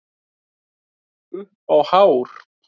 Upp á hár.